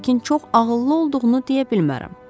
Lakin çox ağıllı olduğunu deyə bilmərəm.